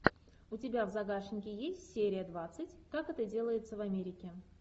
у тебя в загашнике есть серия двадцать как это делается в америке